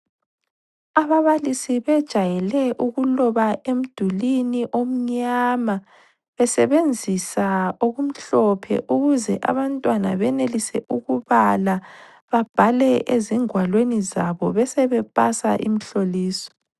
Ababalisi bejayele ukuloba emdulwini omnyama besebenzisa okumhlophe ukuze abantwana benelise ukubala babhale ezingwalweni zabo besebepasa imihloliso.